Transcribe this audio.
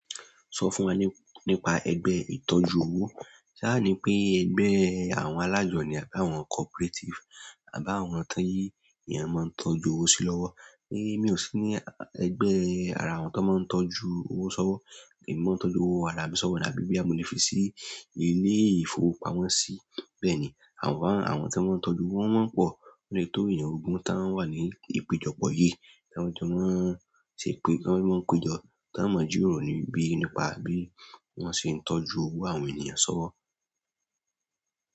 Sọ fún wa nípa ẹgbẹ́ ìtọ́jú owó. Ṣa ni pé ẹgbẹ́ àwọn alájọ ní àbí àwọn cooperative àbí àwọn tó èèyàn máa ń tọ́jú owó sí lọ́wọ́. Ni mi ò sí ní ẹgbẹ́ ara àwọn tó máa ń tọ́jú owó sọ́wọ́. Èmi máa ń tọ́jú owó ara mi sọ́wọ́, àbí bóyá mo le fi sí ilé-ìfowópamọ́sí. Bẹ́ẹ̀ni àmọ́ àwọn tó máa ń tọ́jú owó wọ́n pọ̀. Ólotó èèyàn ogún tá ń wà ní ìpéjọpọ̀ yìí, tá ń jọ máa ń ṣe pé, tá ń jọ máa ń péjọ, tá ń mọ̀ jíròrò níbí nípa bí wọ́n ṣe ń tọ́jú owó àwọn ènìyàn sọ́wọ́.